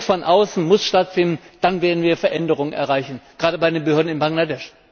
Druck von außen muss stattfinden, dann werden wir Veränderungen erreichen, gerade bei den Behörden in Bangladesch.